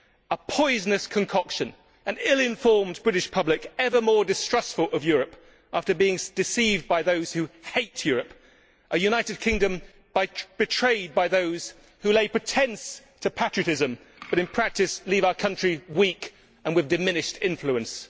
A poisonous concoction, an ill informed British public ever more distrustful of Europe after being deceived by those who hate Europe, a United Kingdom betrayed by those who lay pretence to patriotism but in practice leave our country weak and with diminished influence.